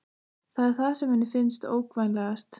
Það er það sem henni finnst ógnvænlegast.